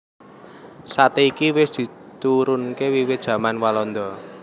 Sate iki wis diturunke wiwit jaman walanda